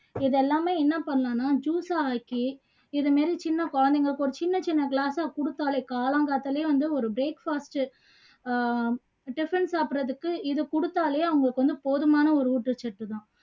இதெல்லாமே என்ன பண்ணலாம்னா juice ஆக்கி இது மாதிரி சின்ன குழந்தைங்களுக்கு சின்ன சின்ன glass ஆ கொடுத்தாலே காலங்காத்தாலையே வந்து ஒரு breakfast ஆஹ் tiffin சாப்புடுறதுக்கு இது குடுத்தாலே அவங்களுக்கு வந்து போதுமான ஒரு ஊட்டச்சத்து தான்